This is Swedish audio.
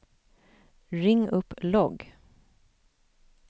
ring upp logg